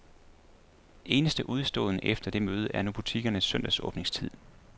Eneste udestående efter det møde er nu butikkernes søndagsåbningstid.